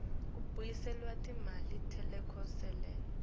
kubuyiselelwa timali tetelekelelo